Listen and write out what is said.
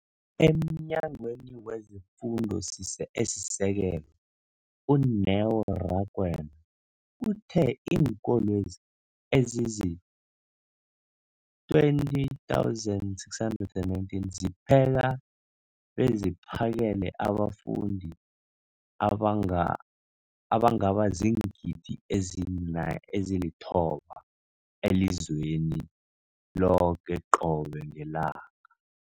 EmNyangweni wezeFundo esiSekelo, u-Neo Rakwena, uthe iinkolo ezizi-20 619 zipheka beziphakele abafundi abangaba ziingidi ezili-9 032 622 elizweni loke qobe ngelanga.